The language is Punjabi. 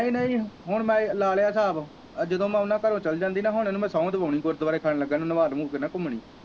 ਨਹੀਂ ਨਹੀਂ ਹੁਣ ਮੈ ਲਾਲਿਆ ਸਾਬ ਆ ਜਦੋ ਮੈ ਉਹਨਾਂ ਘਰੋਂ ਚਲ ਜਾਂਦੀ ਨਾ ਹੁਣ ਮੈ ਇਹਨੂੰ ਸੋਹ ਦਵਾਉਣੀ ਗੁਰਦਵਾਰੇ ਖੜ੍ਹਨ ਲੱਗਾ ਇਹਨੂੰ ਨਵਾ ਨਵੁ ਕੇ ਨਾ ਘੁਮਣੀ।